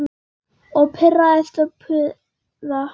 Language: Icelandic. Og pirrast og puða.